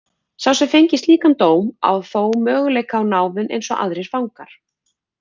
Sá sem fengi slíkan dóm á þó möguleika á náðun eins og aðrir fangar.